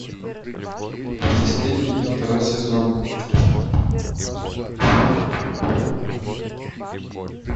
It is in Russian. бесстыдники второй сезон